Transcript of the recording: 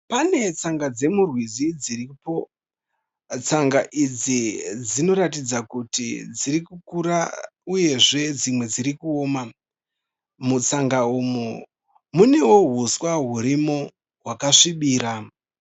Pane tsanga dzemurwizi dziripo. Tsanga idzi, dzinoratidza kuti dziri kukura uyezve dzimwe dziri kuoma. Mutsanga umu, munewo huswa hurimo hwakasvibira.